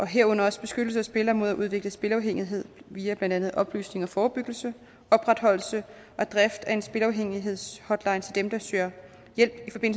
herunder også beskyttelse af spillere mod at udvikle spilafhængighed via blandt andet oplysning og forebyggelse opretholdelse og drift af en spilafhængighedshotline til dem der søger hjælp